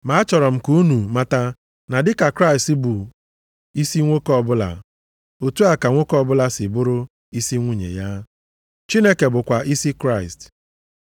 Ma achọrọ m ka unu mata na dịka Kraịst bụ isi nwoke ọbụla, otu a ka nwoke ọbụla si bụrụ isi nwunye ya. Chineke bụkwa isi Kraịst.